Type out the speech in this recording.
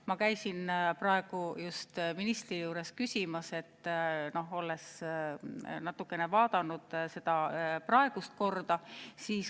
Ma käisin praegu just ministri juures selle kohta küsimas, olles natukene vaadanud ka seda praegust korda.